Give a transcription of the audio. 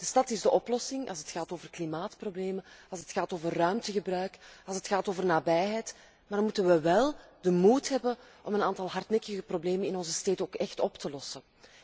De stad is dé oplossing als het gaat over klimaatproblemen, als het gaat over ruimtegebruik, als het gaat over nabijheid, maar dan moeten we wel de moed hebben om een aantal hardnekkige problemen in onze steden ook echt op te lossen.